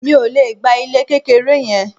Mi ò le gba ilé kékeré yẹn.